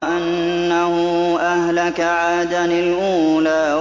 وَأَنَّهُ أَهْلَكَ عَادًا الْأُولَىٰ